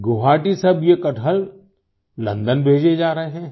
गुवाहाटी से अब ये कटहल लंदन भेजे जा रहे हैं